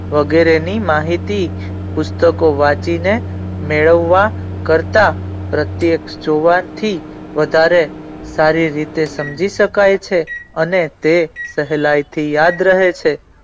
વેગેરે ની માહિતી પુસ્તકો વાંચી ને મેળવા કરતા પ્રેતેક જોવાથી વધારે સારી રીતે સમજી શકાય છે અને તે સહેલાઇ થી યાદ રહે છે.